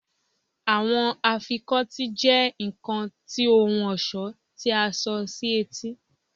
Awọn afikọti jẹ nkan ti ohun ọṣọ ti a so si eti